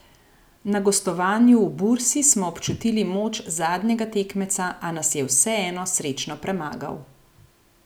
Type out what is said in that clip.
Na gostovanju v Bursi smo občutili moč zadnjega tekmeca, a nas je vseeno srečno premagal.